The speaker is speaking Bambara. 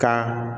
Ka